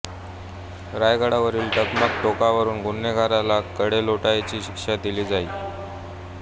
रायगडावरील टकमक टोकावरून गुन्हेगाराला कडेलोटाची शिक्षा दिली जाई